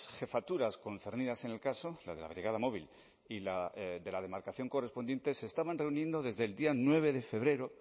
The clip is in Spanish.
jefaturas concernidas en el caso la de la brigada móvil y la de la demarcación correspondiente se estaban reuniendo desde el día nueve de febrero